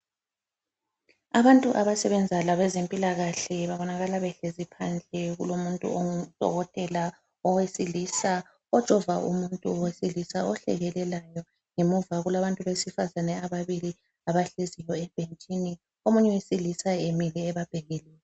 Abantu abasebenza labezempilakahle babonakala behlezi phansi kulomuntu ongudokotela owesilisa ojova umuntu wesilisa ohlekelelayo ngemuva kulabantu besifazane ababili abahleziyo ebhentshini omunye wesilisa emile ebabhekile.